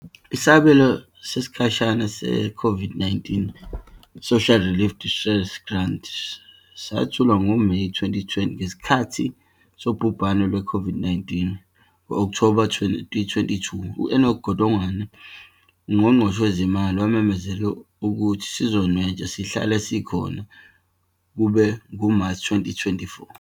Isibonelelo sesikhashana se-COVID-19 Social Relief of Distress Grant sanethulwa ngoMeyi 2020 ngesikhathi sobhubhane lwe-COVID-19, ngo-Okthoba 2022, u-Enoch Godongwana, uNgqongqoshe Wezezimali, wamemezela ukuthi sizonwetshwa sihlale sikhona kuze kube nguMashi 2024.